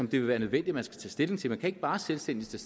vil være nødvendigt man skal tage stilling til man kan ikke bare selvstændigt